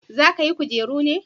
za ka yi kujeru ne?